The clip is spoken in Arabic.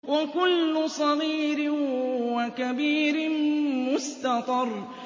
وَكُلُّ صَغِيرٍ وَكَبِيرٍ مُّسْتَطَرٌ